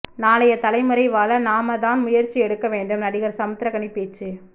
நாளைய தலைமுறை வாழ நாம தான் முயற்சி எடுக்க வேண்டும் நடிகர் சமுத்திரகனி பேச்சு